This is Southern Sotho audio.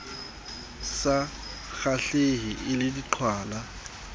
sa kgahlehe e le diqhwala